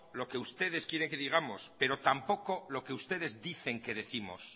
lo que ustedes quieren que digamos pero tampoco lo que ustedes dicen que décimos